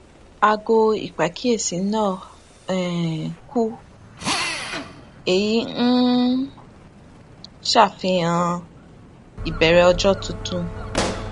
aago ìpàkíyèsí náa um kú èyí n ṣàfihàn ìbẹrẹ ọjọ tuntun